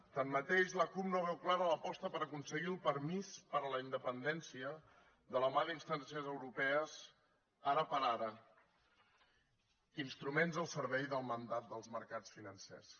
tanmateix la cup no veu clara l’aposta per aconseguir el permís per a la independència de la mà d’instàncies europees ara per ara instruments al servei del mandat dels mercats financers